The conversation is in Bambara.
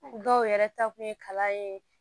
Dɔw yɛrɛ ta kun ye kalan ye